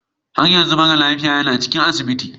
Har yanzu mara lafiyan yana cikin asibitin.